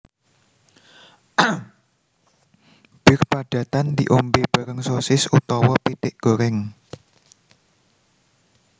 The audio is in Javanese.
Bir padatan diombe bareng sosis utawa pitik goreng